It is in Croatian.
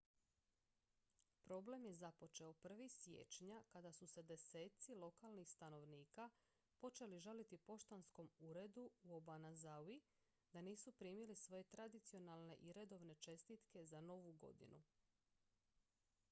problem je započeo 1. siječnja kada su se deseci lokalnih stanovnika počeli žaliti poštanskom uredu u obanazawi da nisu primili svoje tradicionalne i redovne čestitke za novu godinu